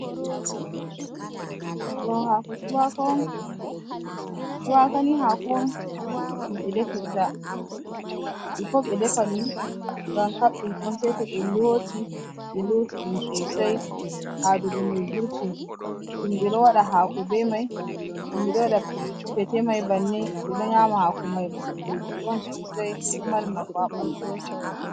Ɗo hako cuwaka on, cuwaka ni hako on ɗum ɓe defirta bifo ɓeɗefa ɗum ngam kadɗum on seito ɓe loti ɓe loti ɗum sosai haɗugo mai vurti himɓe ɗo waɗa hakoɓe mai himɓɓe ɗo waɗa Pete mai bannin ɓe ɗo yama hako mai lekki on sosai ɗo mari nafu ha ɓanɗu.